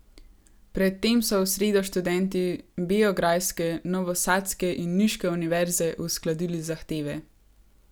Pred tem so v sredo študenti beograjske, novosadske in niške univerze uskladili zahteve.